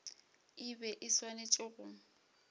e be e swanetše go